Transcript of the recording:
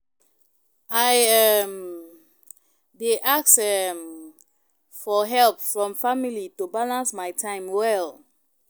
I um dey ask um for help from family to balance my time well.